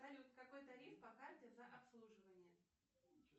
салют какой тариф по карте за обслуживание